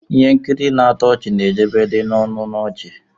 Ihe nkiri na-atọ ọchị na-ejedebe n'ọñụ na ọchị.